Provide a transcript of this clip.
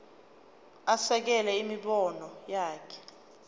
asekele imibono yakhe